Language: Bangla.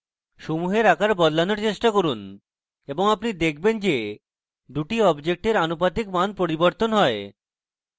সমূহের আকার বদলানোর চেষ্টা করুন এবং আপনি দেখবেন যে দুটি অবজেক্টের আনুপাতিক মাপ পরিবর্তন হয়